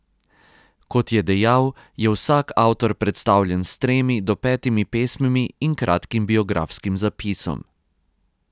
Kot je dejal, je vsak avtor predstavljen s tremi do petimi pesmimi in kratkim biografskim zapisom.